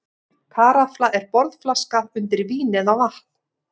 Karafla er borðflaska undir vín eða vatn.